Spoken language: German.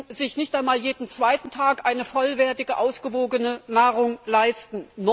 sie können sich nicht einmal jeden zweiten Tag eine vollwertige, ausgewogene Nahrung leisten.